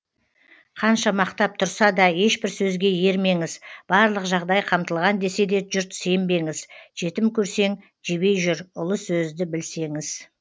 қанша мақтап тұрса да ешбір сөзге ермеңіз барлық жағдай қамтылған десе де жұрт сенбеңіз жетім көрсең жебей жүр ұлы сөзді білсеңіз